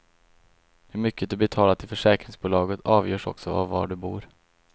Hur mycket du betalar till försäkringsbolaget avgörs också av var du bor.